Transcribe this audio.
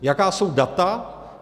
Jaká jsou data?